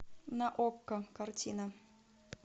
на окко картина